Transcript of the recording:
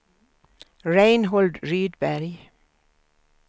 Reinhold Rydberg